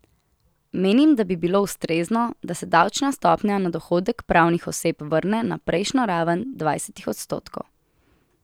Menim, da bi bilo ustrezno, da se davčna stopnja na dohodek pravnih oseb vrne na prejšnjo raven dvajsetih odstotkov.